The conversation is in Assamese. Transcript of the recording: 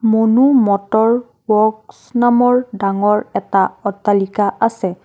মনো মটৰ ওৱৰ্কছ নামৰ ডাঙৰ এটা অট্টালিকা আছে।